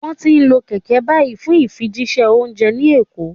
Wọ́n ti ń lo kẹ̀kẹ́ báyìí fún ìfijíṣẹ́ oúnjẹ ní Èkó